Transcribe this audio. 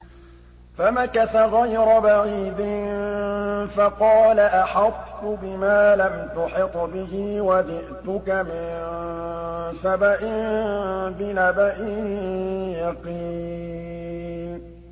فَمَكَثَ غَيْرَ بَعِيدٍ فَقَالَ أَحَطتُ بِمَا لَمْ تُحِطْ بِهِ وَجِئْتُكَ مِن سَبَإٍ بِنَبَإٍ يَقِينٍ